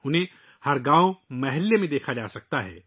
آج وہ ہر گاؤں اور محلے میں دیکھی جا سکتی ہیں